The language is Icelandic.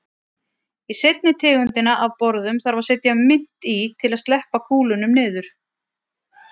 Í seinni tegundina af borðum þarf að setja mynt í til að sleppa kúlunum niður.